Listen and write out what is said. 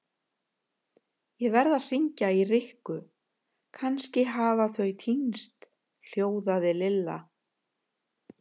Ég verð að hringja í Rikku, kannski hafa þau týnst hljóðaði Lilla.